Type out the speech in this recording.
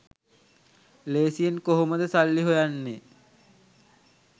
ලේසියෙන් කොහොමද සල්ලි හොයන්නේ.